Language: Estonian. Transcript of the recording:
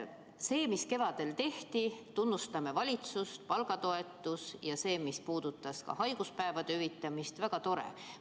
See, mis kevadel tehti – tunnustame valitsust, palgatoetus ja see, mis puudutas haiguspäevade hüvitamist –, oli väga tore.